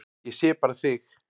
Ég sé bara þig!